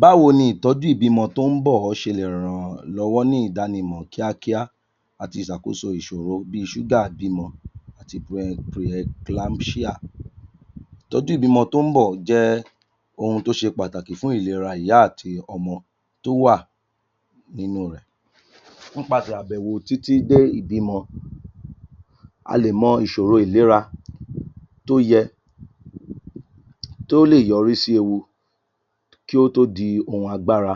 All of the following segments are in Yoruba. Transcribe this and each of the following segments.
Báwo ni ìtọ́jú ìbímọ tó ń bọ̀ ṣe le ràn yàn lọ́wọ́ ní ìdánimọ̀ kíákíá àti ìṣàkóso ìṣòro bi ṣúgà ìbímọ àti pre em pre emclampsia. Ìtọ́jú ìbímọ tó ń bọ̀ jẹ́ ohun tó ṣe pàtàkì fún ìlera ìyá àti ọmọ tó wà nínú rẹ̀, nípasẹ̀ àbẹ̀wò títí dé ìbímọ a lè mọ̀ ìṣòro ìlera tó yẹ tó lè yọrí sí ewu kí ó tó di ohun agbára.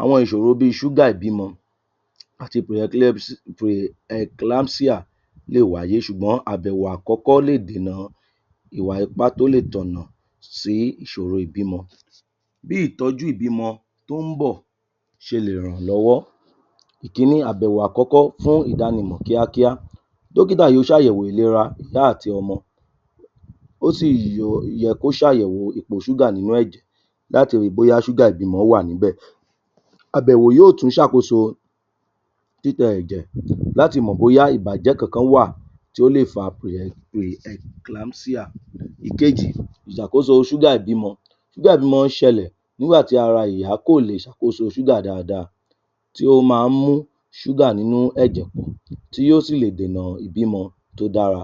Àwọn ìṣòro bí i ṣúgà ìbímọ àti pre emp preemclampsia lé è wáyé ṣùgbọ́n àbèwò àkọ́kọ́ lè dènà ìwà ipá tó lè tọ̀nà sí ìṣòro ìbímọ. Bí ìtọ́jú ìbímọ tó ń bọ̀ ṣe lè ràn lọ́wọ́. Ìkíní, àbèwò àkọ́kọ́ fún ìdánimọ̀ kíákíá, dókítà yóò ṣàyẹ̀wò ìlera ìyá àti ọmọ ó sì yẹ kó ṣàyẹ̀wò ipò ṣúgà nínú ẹ̀jẹ̀ láti ri bóyá ṣúgà ìbímọ wá à níbẹ̀. Àbèwò yóò tún ṣàkóso títẹ ẹ̀jẹ̀ láti mọ bóyá ìbàjẹ́ kankan wá à tó lè fa prem preemclampsia. Ìkejì, ìṣàkóso ṣúgà ìbímọ, ṣúgà ìbímọ ṣẹlẹ̀ nígbà tára ìyá kò lè ṣàkóso ṣúgà dáadáa tí ó máa ń mú ṣúgà nínú ẹ̀jẹ̀ pọ̀ tí yóò sì lè dènà ìtọ́jú tí ó dára.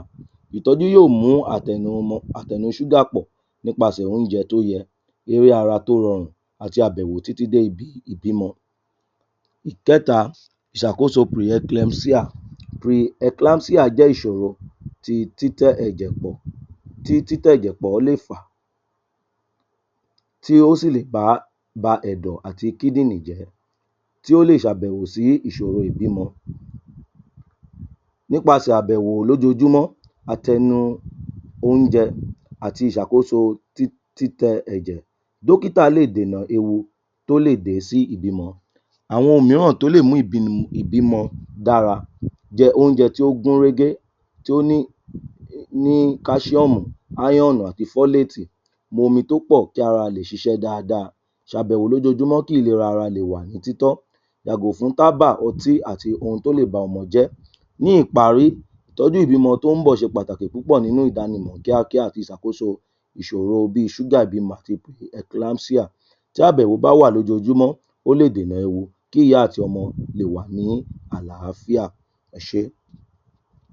ìtọ́jú yóò mú àtẹnumọ́ àtẹnu ṣúgà pọ̀ nípasẹ̀ oúnjẹ tó dára, eré ara tó rọrùn àti àbèwò títí dé ìbímọ. Ìkẹ́ta, ìṣàkóso preemkemcia preemclampsia jẹ́ ìṣòro ti títẹ ẹ̀jẹ̀ pọ̀ tí títẹ̀ ẹ̀jẹ̀ pọ̀ lè fà tí ó sì lè bá ba ẹ̀dọ̀ àti kíndìnrín jẹ́ tí ó lè ṣe àbèwò sí ìṣòro ìbímọ nípasẹ̀ àbèwò lójojúmọ́ àtẹnu oúnjẹ àti ìṣàkóso títẹ ẹ̀jẹ̀ dókítà lè dènà ewu tó lè dé sí ìbímọ. Àwọn ohun mìíràn tó lè mú ìbímọ dára. Jẹ oúnjẹ tó gún régé tó ní ní calcium iron àti folate momi tó pọ̀ kára lè ṣiṣẹ́ dáadáa, ṣàbèwò lójoójúmọ́ kí ìlera ara le wà ní títọ́, yàgò fún tábà, ọtí àti ohun tó lè ba ọmọ jẹ́. Ní ìparí, ìtọ́jú ìbímọ tó ń bọ̀ ṣe pàtàkì púpọ̀ nínú ìdánimọ̀ kíákíá àti ìṣàkóso ìṣòro bi ṣúgà ìbímọ àti emclampsia, tí àbèwò bá wà lójoójúmọ́ ó lè dènà ewu kí ìyá àti ọmọ le wà ní àlàáfíà. Ẹ ṣé.